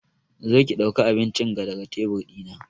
Zo ki dauka abincin ga daga tebur dina!